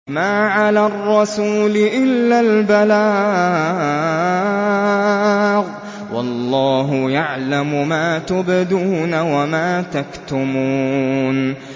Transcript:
مَّا عَلَى الرَّسُولِ إِلَّا الْبَلَاغُ ۗ وَاللَّهُ يَعْلَمُ مَا تُبْدُونَ وَمَا تَكْتُمُونَ